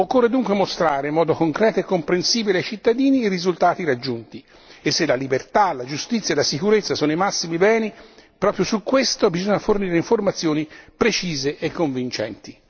Occorre dunque mostrare in modo concreto e comprensibile ai cittadini i risultati raggiunti e se la libertà, la giustizia e la sicurezza sono i massimi beni, proprio su questo bisogna fornire informazioni precise e convincenti.